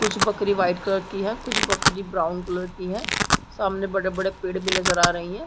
--कुछ बकरी white colour की है कुछ बकरी ब्राउन कलर की है सामने बड़े बड़े पेड़ भी नजर आ रहे है।